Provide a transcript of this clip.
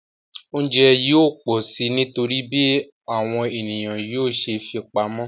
Oúnjẹ yóò pọ̀ si nítorí bí àwọn ènìyàn yóò ṣe fipamọ́